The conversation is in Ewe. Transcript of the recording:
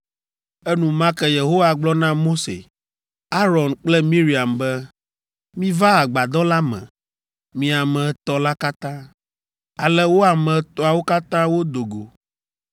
Enumake Yehowa gblɔ na Mose, Aron kple Miriam be, “Miva agbadɔ la me, mi ame etɔ̃ la katã.” Ale wo ame etɔ̃awo katã wodo go.